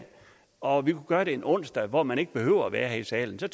og vi kunne gøre det en onsdag hvor man ikke behøver at være her i salen så